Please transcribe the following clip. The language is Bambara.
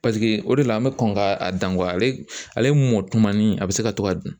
paseke o de la, an be kɔn k'a dan ale mɔtumani a be se ka to ka dun.